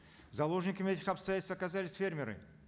заложниками этих обстоятельств оказались фермеры